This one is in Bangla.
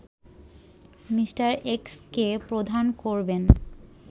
মি. এক্সকে প্রধান করবেন